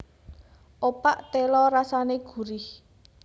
Opak téla rasané gurih